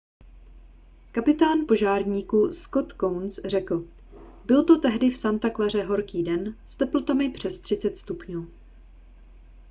kapitán požárníků scott kouns řekl byl to tehdy v santa claře horký den s teplotami přes 30 stupňů